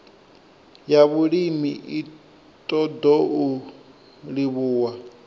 ya vhulimi i ṱoḓou livhuwa